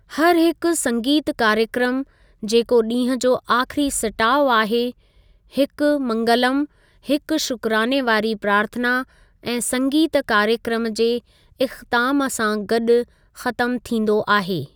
हर हिकु संगीतु कार्यक्रमु जेको डीं॒हुं जो आख़िरी सिटाउ आहे, हिकु मंगलम, हिकु शुकराने वारी प्रार्थना ऐं संगीतु कार्यक्रमु जे इख़्तितामु सां गॾु ख़त्मु थींदो आहे।